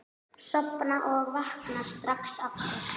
Sofna og vakna strax aftur.